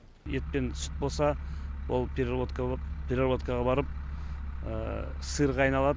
ет пен сүт болса ол пеработкаға барып сырға айналады